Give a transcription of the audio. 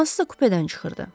Hansısa kupedən çıxırdı.